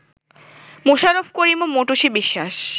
মোশাররফ করিম ও মৌটুসী বিশ্বাস